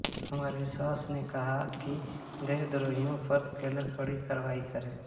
कुमार विश्वास ने कहा कि देशद्रोहियों पर केन्द्र कड़ी कार्यवाही करे